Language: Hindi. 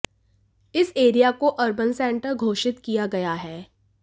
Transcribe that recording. इस एरिया को अर्बन सेंटर घोषित किया गया है